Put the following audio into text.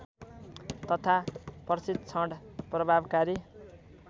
तथा प्रशिक्षण प्रभावकारी